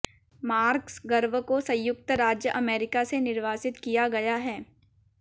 Marcus Garvey को संयुक्त राज्य अमेरिका से निर्वासित किया गया है